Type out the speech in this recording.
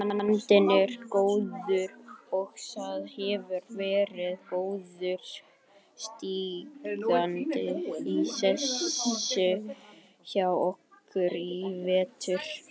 Andinn er góður og það hefur verið góður stígandi í þessu hjá okkur í vetur.